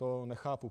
To nechápu.